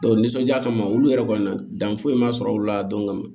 nisɔndiya kama olu yɛrɛ kɔni na dan foyi ma sɔrɔ olu la dɔn